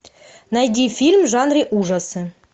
найди фильм в жанре ужасы